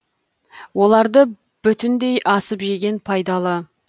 оларды бүтіндей асып жеген пайдалы